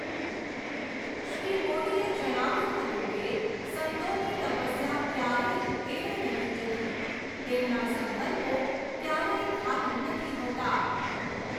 શ્રી મોદીએ જણાવ્યુંં હતું કે, સંતોની તપસ્યા ક્યારેય એળે નથી જતી, તેમના સંકલ્પો ક્યારેય ખાલી નથી હોતા!